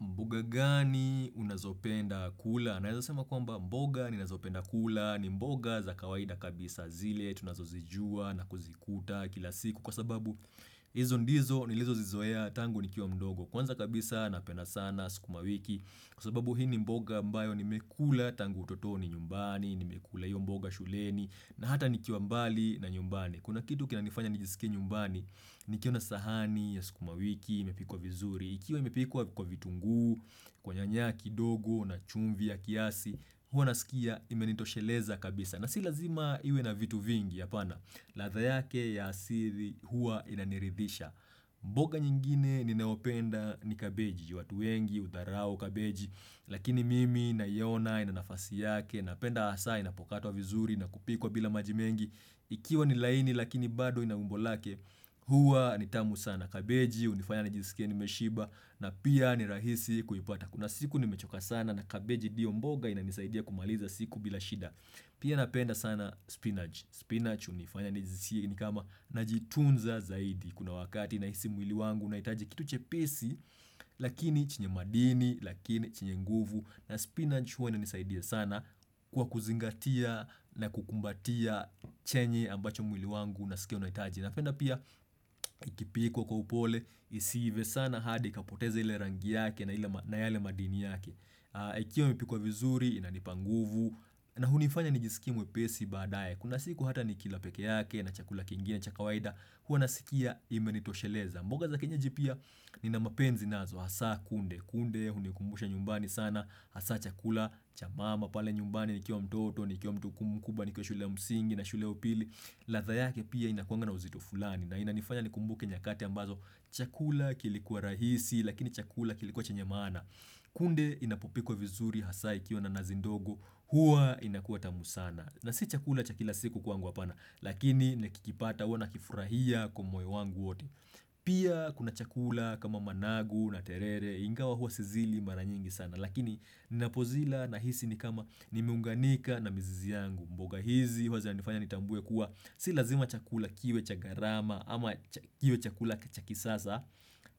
Mboga gani unazopenda kula? Naeza sema kwamba mboga ninazopenda kula. Ni mboga za kawaida kabisa zile tunazo zijua na kuzikuta kila siku. Kwa sababu hizo ndizo nilizozizoea tangu nikiwa mdogo. Kwanza kabisa napenda sana sukuma wiki. Kwa sababu hii ni mboga ambayo nimekula tangu utotoni nyumbani. Nimekula hiyo mboga shuleni. Na hata nikiwa mbali na nyumbani. Kuna kitu kinanifanya nijisikie nyumbani. Nikiona sahani ya sukuma wiki imepikwa vizuri. Ikiwa imepikwa kwa vitunguu, kwa nyanya kidogo na chumvi ya kiasi, huwa nasikia imenitosheleza kabisa. Na si lazima iwe na vitu vingi hapana, ladha yake ya asili hua inaniridhisha. Mboga nyingine ninayopenda ni kabeji, juu watu wengi, hudharau kabeji, lakini mimi naiona inanafasi yake, napenda hasa inapokatwa vizuri na kupikwa bila maji mengi. Ikiwa ni laini lakini bado ina umbo lake huwa ni tamu sana kabeji hunifanya nijisikie nimeshiba na pia ni rahisi kuipata Kuna siku nimechoka sana na kabeji ndiyo mboga inanisaidia kumaliza siku bila shida Pia napenda sana spinach. Spinach hunifanya nijisikie ni kama najitunza zaidi Kuna wakati nahisi mwili wangu unahitaji kitu chepesi Lakini chenye madini, lakini chenye nguvu na spinach huwa inanisaidia sana kwa kuzingatia na kukumbatia chenye ambacho mwili wangu unasikia unahitaji. Napenda pia ikipikwa kwa upole isiive sana hadi ikapoteza ile rangi yake na yale madini yake. Ikiwa imepikwa vizuri inanipa nguvu na hunifanya nijisikie mwepesi baadaye kuna siku hata nikila peke yake na chakula kingine cha kawaida huwa nasikia imenitosheleza mboga za kienyejipia nina mapenzi nazo hasa kunde. Kunde hunikumbusha nyumbani sana hasa chakula cha mama, pale nyumbani nikiwa mtoto, nikiwa mtu mkubwa, nikiwa shule ya msingi na shule ya upili ladha yake pia inakuanga na uzito fulani na inanifanya nikumbuke nyakati ambazo Chakula kilikuwa rahisi, lakini chakula kilikuwa chenye maana. Kunde inapopikwa vizuri hasa ikiwa na nazi ndogo, hua inakuwa tamu sana na si chakula cha kila siku kwangu hapana, lakini nikikipata huwa nakifurahia kwa moyo wangu wote Pia kuna chakula kama managu na terere, ingawa hua sizili mara nyingi sana lakini ninapozila nahisi ni kama nimeunganika na mizizi yangu mboga hizi huwa zinifanya nitambue kuwa si lazima chakula kiwe cha gharama ama kiwe chakula cha kisasa